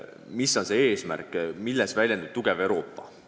Mis on see, milles väljendub tugev Euroopa?